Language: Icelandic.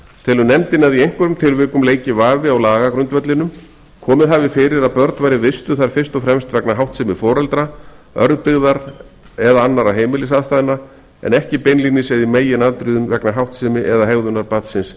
telur nefndin að í einhverjum tilvikum leiki vafi á lagagrundvellinum komið hafi fyrir að börn væru vistuð þar fyrst og fremst vegna háttsemi foreldra örbirgðar eða annarra heimilisaðstæðna en ekki beinlínis eða í meginatriðum vegna háttsemi eða hegðunar barnsins